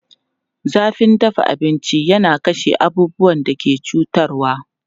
Zafin dafa abinci yana kashe abubuwan da ke cutarwa.